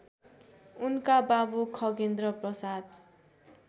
उनका बाबु खगेन्द्रप्रसाद